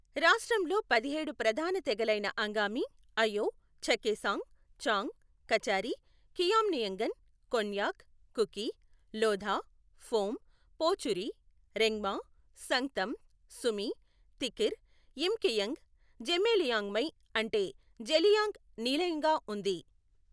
రాష్ట్రంలో పదిహేడు ప్రధాన తెగలైన అంగామి, అయో, చఖేసాంగ్, చాంగ్, కచారి, ఖియామ్నియంగన్, కొన్యాక్, కుకి, లోథా, ఫోమ్, పోచురి, రెంగ్మా, సంగ్తమ్, సుమి, తిఖిర్, యిమ్ఖియంగ్, జెమే లియాంగ్మై అంటే జెలియాంగ్ నిలయంగా ఉంది.